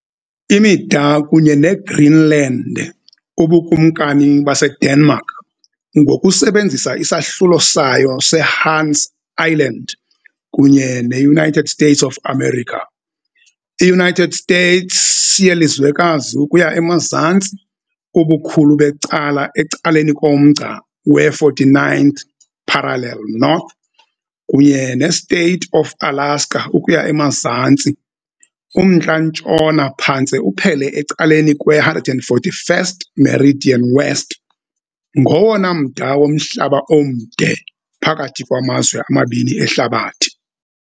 Imida kunye neGreenland, uBukumkani baseDenmark, ngokusebenzisa isahlulo sayo seHans Island, kunye ne-United States of America - i-United States yelizwekazi ukuya emazantsi, ubukhulu becala ecaleni komgca we-49th parallel North, kunye ne-State of Alaska ukuya emazantsi. umntla-ntshona phantse uphele ecaleni kwe-141st meridian West - ngowona mda womhlaba omde phakathi kwamazwe amabini ehlabathini.